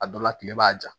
A dɔ la kile b'a ja